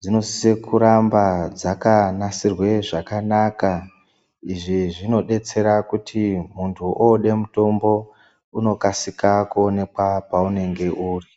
dzinosise kuramba dzakanasirwe zvakanaka izvi zvinobetsera kuti muntu ode mutombo unokasika kuonekwa paunenge uri.